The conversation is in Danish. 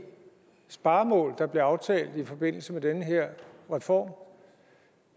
sparemål der blev aftalt i forbindelse med den her reform